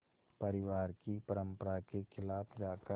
परिवार की परंपरा के ख़िलाफ़ जाकर